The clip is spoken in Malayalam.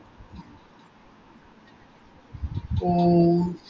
ഓ